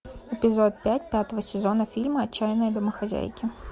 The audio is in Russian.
эпизод пять пятого сезона фильма отчаянные домохозяйки